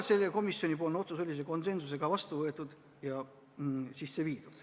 See otsus sai konsensusega vastu võetud.